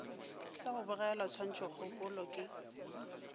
sa go bogelwa tshwantšhokgopolo ke